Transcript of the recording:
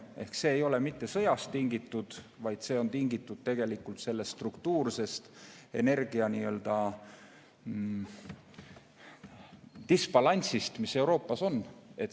Seega see ei ole mitte sõjast tingitud, vaid see on tingitud sellest struktuursest energia- nii-öelda disbalansist, mis Euroopas on.